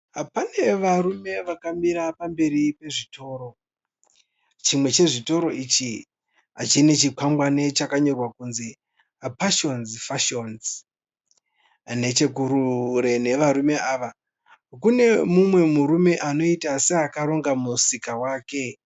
Pane varume vakamira pamberi pezvitoro. Chimwe chezvitoro izvi chine chichikwangwani chakanyorwa kunzi Passions fashions. Nechekure kwevarume ava kune mumwe murume anoita seakaronga musika wake.